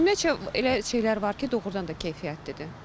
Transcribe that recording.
Ümumiyyətcə elə şeylər var ki, doğrudan da keyfiyyətlidir.